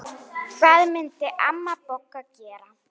Stjana mín, kallið er komið.